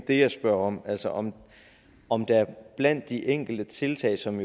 det jeg spørger om altså om om der blandt de enkelte tiltag som